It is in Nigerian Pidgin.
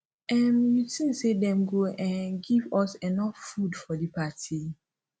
um you tink say dem go um give us enough food for di party